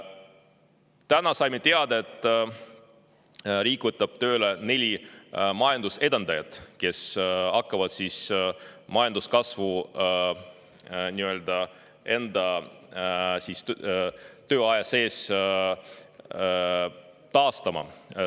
Täna saime teada, et riik võtab tööle neli majanduse edendajat, kes hakkavad majanduskasvu nii-öelda enda tööaja sees taastama.